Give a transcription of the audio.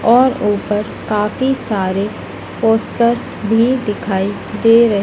और ऊपर काफी सारे पोस्टर भी दिखाई दे रहे--